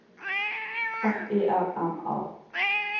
F I R M A